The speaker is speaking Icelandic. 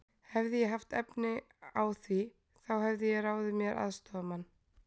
Hefði ég haft á því efni, þá hefði ég ráðið mér aðstoðarmann.